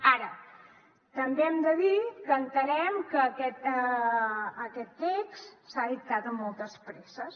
ara també hem de dir que entenem que aquest text s’ha dictat amb moltes presses